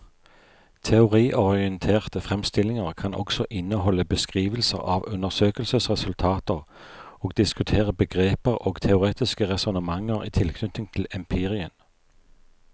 Teoriorienterte fremstillinger kan også inneholde beskrivelser av undersøkelsesresultater og diskutere begreper og teoretiske resonnementer i tilknytning til empirien.